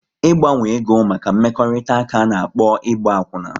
Ị gbanwe ego maka mmekọrịta ka ana-akpọ Ịgba akwuna